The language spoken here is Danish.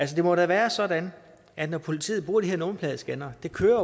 det må da være sådan at politiet bruger de her nummerpladescannere de kører